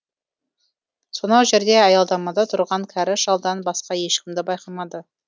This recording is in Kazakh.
сонау жерде аялдамада тұрған кәрі шалдан басқа ешкімді байқамады